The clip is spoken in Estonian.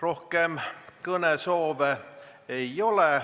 Rohkem kõnesoove ei ole.